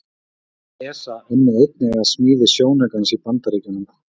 Starfsmenn ESA unnu einnig að smíði sjónaukans í Bandaríkjunum.